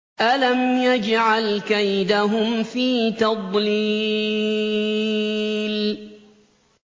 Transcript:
أَلَمْ يَجْعَلْ كَيْدَهُمْ فِي تَضْلِيلٍ